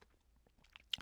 TV 2